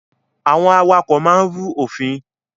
Àwọn awakọ̀ máa ń rú òfin.